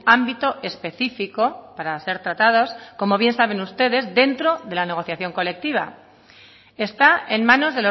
ámbito específico para ser tratados como bien saben ustedes dentro de la negociación colectiva está en manos